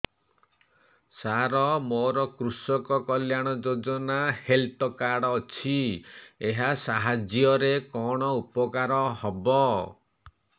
ସାର ମୋର କୃଷକ କଲ୍ୟାଣ ଯୋଜନା ହେଲ୍ଥ କାର୍ଡ ଅଛି ଏହା ସାହାଯ୍ୟ ରେ କଣ ଉପକାର ହବ